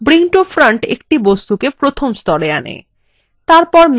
bring to front একটা বস্তুকে প্রথম স্তরে আনে